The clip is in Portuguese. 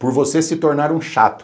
Por você se tornar um chato.